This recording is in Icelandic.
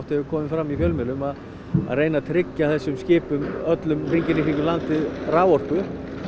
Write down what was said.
hefur komið fram í fjölmiðlum að reyna að tryggja þessum skipum öllum hringinn í kringum landið raforku